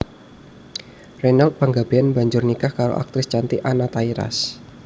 Reynold Panggabean banjur nikah karo aktris cantik Anna Tairas